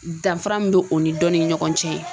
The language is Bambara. Danfara min bɛ o ni dɔnni ni ɲɔgɔn cɛ